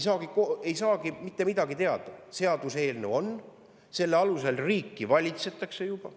Selle seaduseelnõu alusel valitsetakse juba riiki.